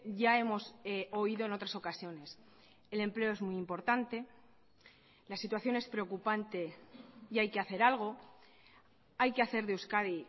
ya hemos oído en otras ocasiones el empleo es muy importante la situación es preocupante y hay que hacer algo hay que hacer de euskadi